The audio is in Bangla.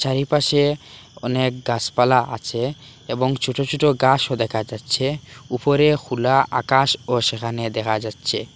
চারিপাশে অনেক গাছপালা আছে এবং ছোট ছোট গাছও দেখা যাচ্ছে উপরে খুলা আকাশও সেখানে দেখা যাচ্ছে।